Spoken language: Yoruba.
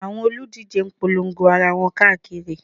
Àwọn olùdíje ń polongo ara wọn káàkiri